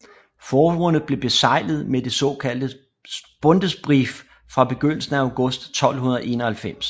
Forbundet blev beseglet med det såkaldte Bundesbrief fra begyndelsen af august 1291